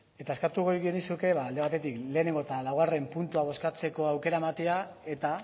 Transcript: eta eskatuko genizueke alde batetik lehenengo eta laugarren puntua bozkatzeko aukera ematea eta